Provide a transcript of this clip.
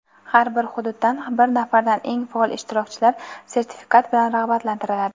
har bir hududdan bir nafardan eng faol ishtirokchilar sertifikat bilan rag‘batlantiriladi.